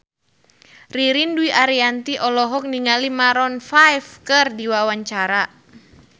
Ririn Dwi Ariyanti olohok ningali Maroon 5 keur diwawancara